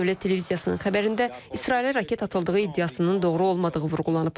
Dövlət televiziyasının xəbərində İsrailə raket atıldığı iddiasının doğru olmadığı vurğulanıb.